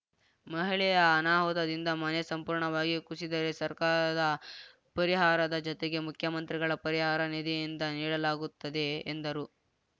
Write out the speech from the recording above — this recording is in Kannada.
ಮಹಿಳೆಯ ಅನಾಹುತದಿಂದ ಮನೆ ಸಂಪೂರ್ಣವಾಗಿ ಕುಸಿದರೆ ಸರ್ಕಾರದ ಪರಿಹಾರದ ಜತೆಗೆ ಮುಖ್ಯಮಂತ್ರಿಗಳ ಪರಿಹಾರ ನಿಧಿಯಿಂದ ನೀಡಲಾಗುತ್ತದೆ ಎಂದರು